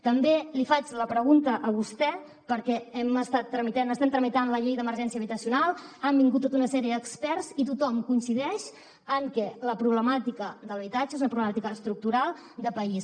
també li faig la pregunta a vostè perquè estem tramitant la llei d’emergència habitacional han vingut tota una sèrie d’experts i tothom coincideix en que la problemàtica de l’habitatge és una problemàtica estructural de país